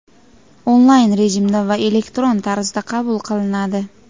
onlayn rejimda va elektron tarzda qabul qilinadi.